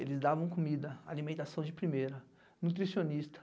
Eles davam comida, alimentação de primeira, nutricionista.